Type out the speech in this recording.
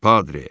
Padre!